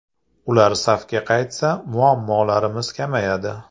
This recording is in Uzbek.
Ular safga qaytsa, muammolarimiz kamayadi.